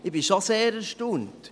Ich bin schon sehr erstaunt.